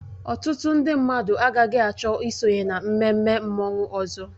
Ọtụtụ ndị mmadụ agaghị achọ isonye na mmemme mmanwụ ọzọ